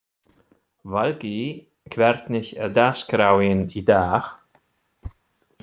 Valgý, hvernig er dagskráin í dag?